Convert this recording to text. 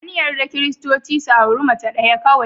An yarda Kiristoci su auri mace ɗaya kawai.